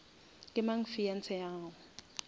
ke mang fiance ya gago